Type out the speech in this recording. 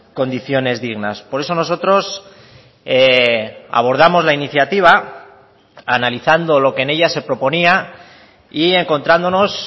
condiciones dignas por eso nosotros abordamos la iniciativa analizando lo que en ella se proponía y encontrándonos